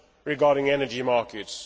regarding energy markets.